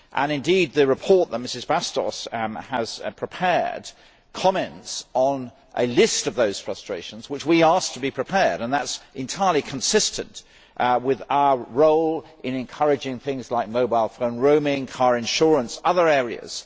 Indeed, the report that Ms Bastos has prepared comments on a list of such frustrations, which we asked to be prepared and that is entirely consistent with our role in encouraging action on issues like mobile phone roaming, car insurance, and other areas.